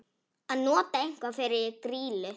Að nota eitthvað fyrir grýlu